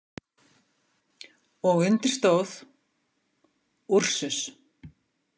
Og undir stóð: Ursus.